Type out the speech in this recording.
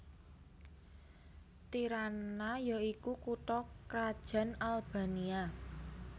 Tirana ya iku kutha krajan Albania